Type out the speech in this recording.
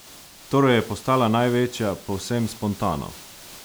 Torej je postala največja povsem spontano?